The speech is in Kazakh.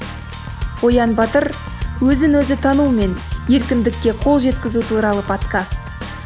оян батыр өзін өзі танумен еркіндікке қол жеткізу туралы подкаст